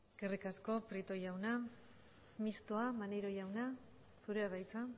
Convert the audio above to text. eskerrik asko prieto jauna mistoa maneiro jauna zurea da hitza